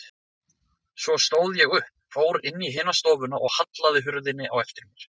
Svo stóð ég upp, fór inn í hina stofuna og hallaði hurðinni á eftir mér.